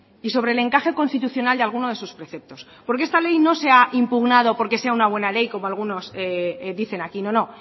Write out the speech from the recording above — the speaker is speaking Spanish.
y sobre el encaje constitucional de alguno de sus preceptos porque esta ley no se ha impugnado porque sea una buena ley como algunos dicen aquí no no